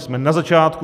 Jsme na začátku.